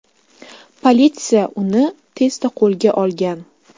Politsiya uni tezda qo‘lga olgan.